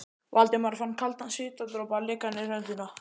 Valdimar fann kaldan svitadropa leka niður holhöndina.